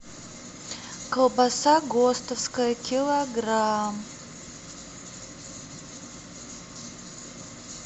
колбаса гостовская килограмм